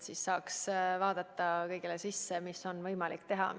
Siis saab vaadata kõigele sisse ja otsustada, mida on võimalik teha.